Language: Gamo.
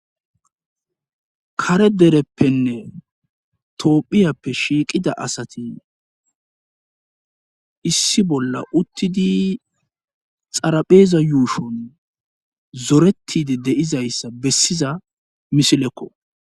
kare dereppenne toohphiyappe shiiqida asati issi bolla uttidi xarapheeza yuushon zoretide deizayssa bessiza misilekko